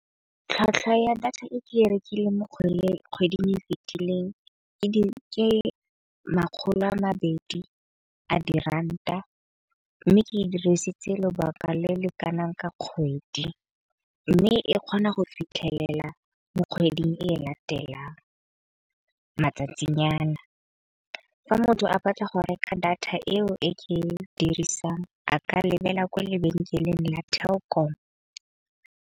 Tlhwatlhwa ya data e ke e rekileng mo kgweding e fitileng ke makgolo a mabedi a di ranta mme ke e dirisitse lobaka le le kanang ka kgwedi. Mme e kgona go fitlhelela mo kgweding e latelang matsatsinyana. Fa motho a batla go reka data eo e ke e dirisang a ka lebella kwa lebenkeleng la Telkom.